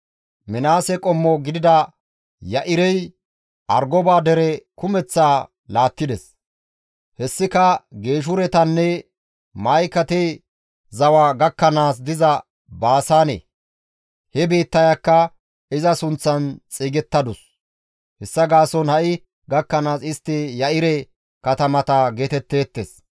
Minaase qommo gidida Ya7irey Argoba dere kumeththaa laattides; hessika Geeshuretanne Ma7ikate zawa gakkanaas diza Baasaane; he biittayakka iza sunththan xeygettadus; hessa gaason ha7i gakkanaas istti Ya7ire katamata geetetteetes.)